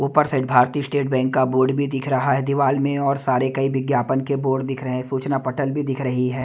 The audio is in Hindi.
ऊपर से भारतीय स्टेट बैंक का बोर्ड भी दिख रहा है दीवाल में और सारे कई विज्ञापन के बोर्ड दिख रहे हैं। सूचना पटल भी दिख रही है।